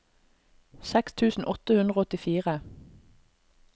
seks tusen åtte hundre og åttifire